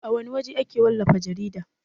A wana waje ake wallafa jarida?